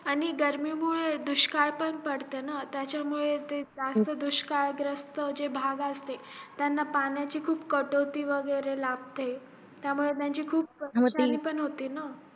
आणि गर्मी मुळे दुष्काळ पण पडते ना त्याच्या मुले जे जास्त दुष्काळ ग्रस्त भाग असते त्यांना पाण्याची खूप काटोटी वैगेरे लागते त्या मुळे त्यांची खूप होते ना